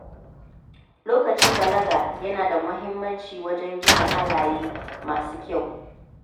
Lokacin balaga yana da mahimmanci wajen gina halaye masu kyau.